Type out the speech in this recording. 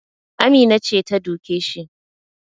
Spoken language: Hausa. Amina ce ta duke shi